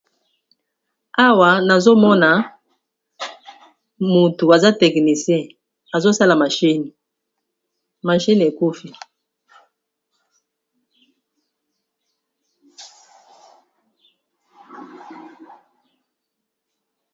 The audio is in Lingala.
Awa nazomona motu aza technicien azosala mashini, mashini ekufi.